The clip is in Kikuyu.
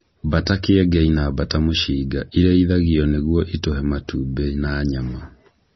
Mbata kĩengei na mbata mũcinga irĩithagio nĩgũo itũhe matumbĩ na nyama.